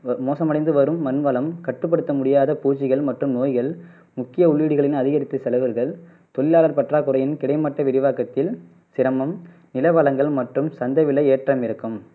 மோசமடைந்து வரும் மண் வளம் கட்டுப்படுத்த முடியாத பூச்சிகள் மற்றும் நோய்கள் முக்கிய உள்ளீடுகளின் அதிகரித்தல் தொழிலாளர் பற்றாக்குறையின் கிடைமட்ட விரிவாக்கத்தில் சிரமம் நில வளங்கள் மற்றும் சந்தை விலை ஏற்றம் இறக்கம்